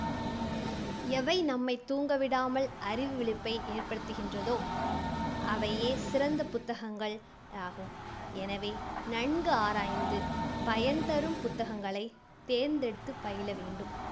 எவை நம்மைத் தூங்க விடாமல் அறிவு விழிப்பை ஏற்படுத்துகின்றதோ அவையே சிறந்த புத்தகங்கள் ஆகும். எனவே நன்கு ஆராய்ந்து பயன் தரும் புத்தகங்களைத் தேர்ந்தெடுத்துப் பயில வேண்டும்.